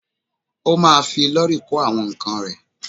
Ó ma fi lọ́rì kó àwọn ǹkan rẹ̀.